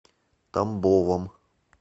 тамбовом